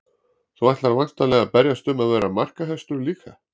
Þú ætlar væntanlega að berjast um að vera markahæstur líka?